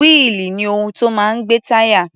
Wíìlì ni ohun tó máa ń gbé táyà.